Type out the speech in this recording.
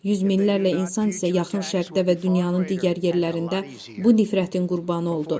Yüz minlərlə insan isə Yaxın Şərqdə və dünyanın digər yerlərində bu nifrətin qurbanı oldu.